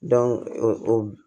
o